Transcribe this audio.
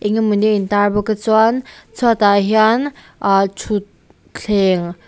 eng emawni a in tar bawk a chuan chhuat a hian aa thut thleng--